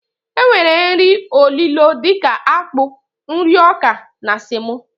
E nwere nri olilo dika akpụ, nri ọkà na semo.